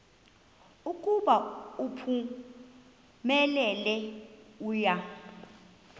ukuba uphumelele uya